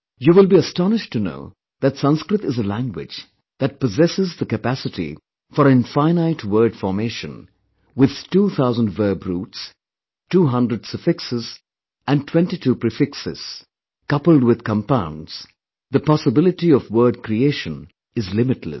You will be astonished to know that Sanskrit is a language that possesses the capacity for infinite word formation with two thousand verb roots, 200 suffixes & 22 prefixes; coupled with compounds, the possibility of wordcreation is limitless